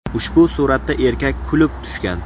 Ushbu suratda erkak kulib tushgan.